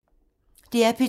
DR P2